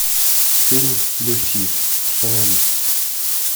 фильм люси установи